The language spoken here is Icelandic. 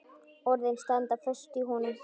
Orðin standa föst í honum.